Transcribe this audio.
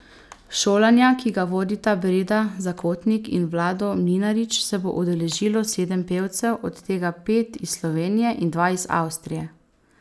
Šolanja, ki ga vodita Breda Zakotnik in Vlado Mlinarić, se bo udeležilo sedem pevcev, od tega pet iz Slovenije in dva iz Avstrije.